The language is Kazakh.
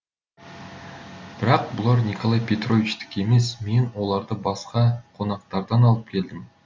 бірақ бұлар николай петровичтікі емес мен оларды басқа қонақтардан алып келдім